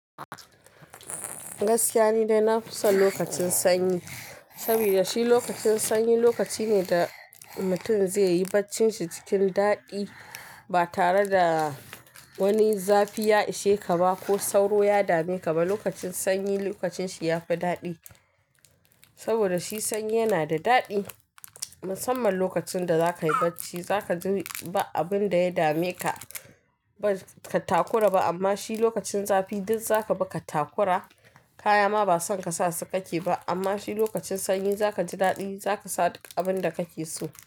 Gaskiya ne dai na fi son lokacin sanyi. Saboda shi lokacin sanyi lokaci ne da mutum zai yi barcin shi cikin daɗi ba tare da wani zafi ya ishe ka ba ko sauro ya dame ka ba. Lokacin sanyi lokacin shi ya fi daɗi. Saboda shi sanyi yana da daɗi. Musamman lokacin da za ka yi bacci za ka ji ba abin da ya dame ka, ba ka takura ba. Amma shi lokacin zafi duk za ka bi ka takura. Kaya ma ba san ka sa su kake ba. Amma shi lokacin sanyi za ka ji daɗi, za ka sa duk abin da kake so.